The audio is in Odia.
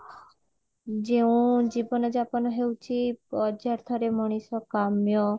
ଯେଉଁ ଜୀବନ ଜାପନ ହେଉଚି ପର୍ଜ୍ଯାଥ୍ୟ ରେ ମଣିଷ କାମ୍ଯ